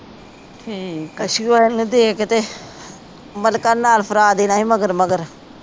ਕਛੁਆ ਏਹਨੂੰ ਦੇ ਕੇ ਤੇ ਮਲਕਾ ਨੂੰ ਨਾਲ ਫਰਾਹਾ ਦੇਣਾ ਸੀ ਮਗਰ ਮਗਰ